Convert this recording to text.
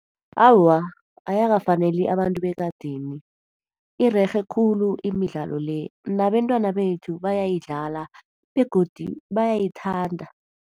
Awa, ayakafaneli abantu bekadeni. Irerhe khulu imidlalo le, nabentwana bethu bayayidlala begodu bayayithanda.